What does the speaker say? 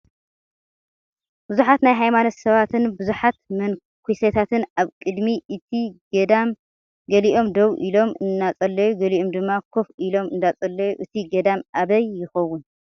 ብዙሓት ናይ ሃይማኖት ሰባትን ብዙሓት መነኩሴታትን ኣብ ቅድሚ እቲ ገዳ ገሊኦም ደው ኢሎም እናፀለዩ ገሊኦም ድማ ኮፍ ኢሎም እንዳፀለዩ እቲ ገዳም ኣበይ ይኸውን?